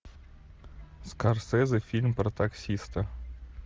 скорсезе фильм про таксиста